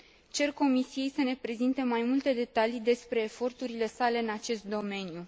Cer Comisiei să ne prezinte mai multe detalii despre eforturile sale în acest domeniu.